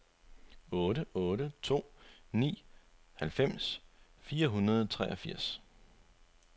otte otte to ni halvfems fire hundrede og treogfirs